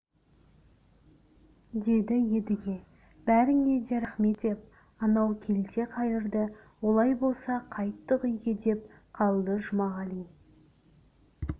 деді едіге бәріңе де рахмет деп анау келте қайырды олай болса қайттық үйге деп қалды жұмағали